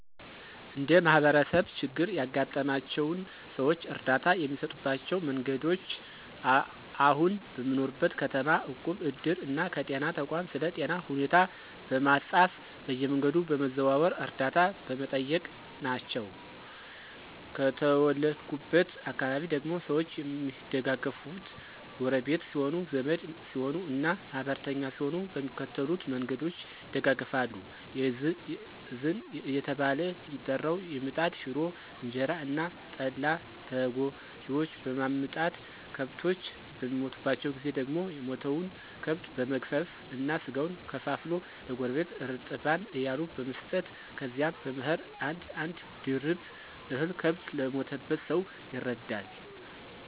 እንደ ማህበረሰብ ችግር ያጋጠማቸውን ሰዎች እርዳታ የሚሰጡባቸው መንገዶች አሁን በምኖርበት ከተማ እቁብ፣ እድር እና ከጤና ተቋም ስለ ጤና ሁኔታ በማፃፍ በየመንገዱ በመዘዋወር ዕርደታ በመጠየቅ ናቸው። ከተወለድኩበት አካባቢ ደግሞ ሰዎች የሚደጋገፋት ጎረቢት ሲሆኑ፣ ዘመድ ሲሆኑ እና ማህበርተኛ ሲሆኑ በሚከተሉት መንገዶች ይደጋገፋሉ። የእዝን እየተባለ የሚጠራው የምጣድ ሽሮ፣ እንጀራ እና ጠላ ለተጎጅዎች በማምጣት፤ ከብቶች በሚሞቱባቸው ጊዜ ደግሞ የሞተውን ከብት በመግፈፍ እና ስጋውን ከፋፍሎ ለጎረቢት እርጥባን እያሉ በመስጠት ከዚያም በመኸር አንድ አንድ ድርብ እህል ከብት ለሞተበት ሰው ይረዳል።